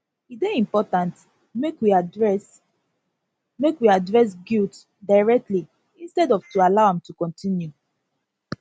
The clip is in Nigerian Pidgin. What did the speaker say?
e dey important make we address make we address guilt directly instead of to allow am to continue